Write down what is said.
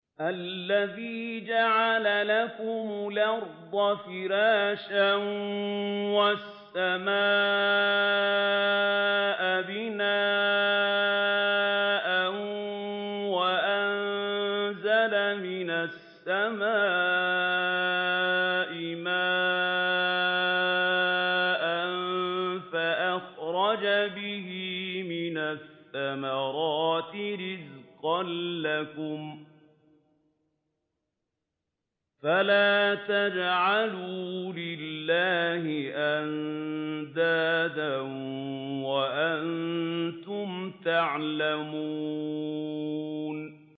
الَّذِي جَعَلَ لَكُمُ الْأَرْضَ فِرَاشًا وَالسَّمَاءَ بِنَاءً وَأَنزَلَ مِنَ السَّمَاءِ مَاءً فَأَخْرَجَ بِهِ مِنَ الثَّمَرَاتِ رِزْقًا لَّكُمْ ۖ فَلَا تَجْعَلُوا لِلَّهِ أَندَادًا وَأَنتُمْ تَعْلَمُونَ